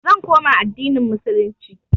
i will revert to islam